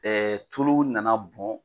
Ɛɛ tulu nana bɔn